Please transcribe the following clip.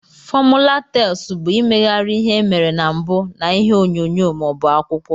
Fọmula tels bu imeghari ihe emere na mbu na ihe onyonyo ma obu akwụkwọ.